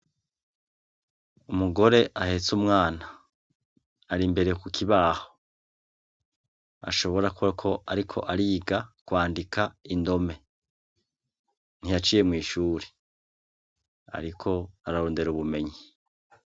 Umugore ahetse umwana ari imbere ku kibaho. Ashobokako kuba ariko ariga kwandika indome. Ntiyaciye mw'ishuri, ariko ararondera ubumenyi.